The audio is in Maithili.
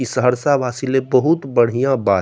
इ सहरसा वासी ले बहुत बढ़िया बात --